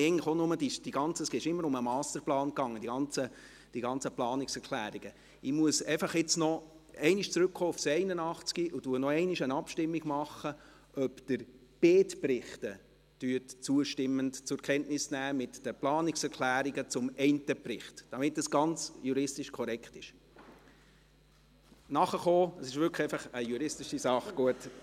Ab sofort werde ich wieder Bühnendeutsch sprechen, wenn ich Deutsch spreche, weil – und ich will auch nichts mehr hören – weil sich auch niemand über das Bühnenfranzösisch von Herrn Gasser aufregt.